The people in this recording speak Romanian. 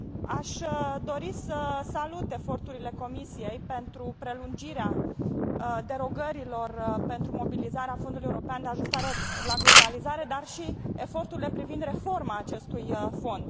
Aș dori să salut eforturile Comisiei pentru prelungirea derogărilor pentru mobilizarea Fondului european de ajustare la globalizare, dar și eforturile privind reforma acestui fond.